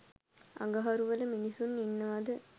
අඟහරු වල මින්ස්සු ඉන්නවද